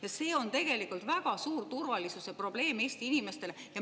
Ja see on tegelikult väga suur turvalisuse probleem Eesti inimestele.